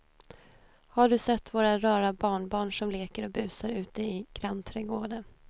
Har du sett våra rara barnbarn som leker och busar ute i grannträdgården!